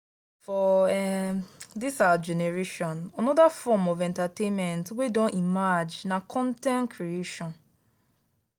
for um this our generation another form of entertainment wey don emerge na con ten t creation.